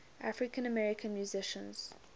african american musicians